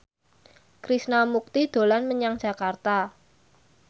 Krishna Mukti dolan menyang Jakarta